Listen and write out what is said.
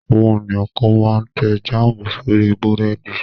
Àwọn ènìyàn kan máa tẹ́ jáámù sórí búrẹ́dì.